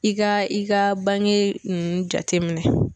I ka i ka bange nunnu jateminɛ.